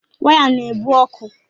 Waya na-ebu ọkụ